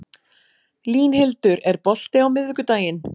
Línhildur, er bolti á miðvikudaginn?